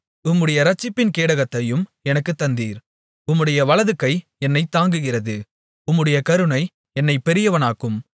உம்முடைய இரட்சிப்பின் கேடகத்தையும் எனக்குத் தந்தீர் உம்முடைய வலதுகை என்னைத் தாங்குகிறது உம்முடைய கருணை என்னைப் பெரியவனாக்கும்